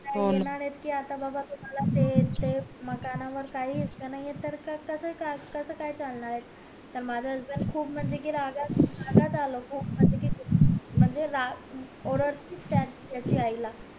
काय घेणार येत कि आता बगा तुम्हला ते ते मकानावर काही हिस्सा नाही कस काय कसं काय चालणार ये आता माझं husband खूप म्हणजे कि रागात रागात आलं खूप म्हणजे कि म्हणजे राग ओरडल त्याच्या आई ला